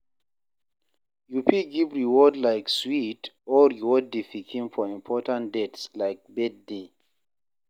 You fit give reward like sweet or reward di pikin for important dates like birthday